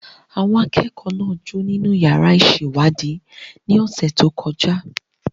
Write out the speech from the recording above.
Àwọn akẹ́kọ̀ọ́ náà ń jó nínú yàrá ìṣèwádìí ní ọ̀sẹ̀ tó kọjá.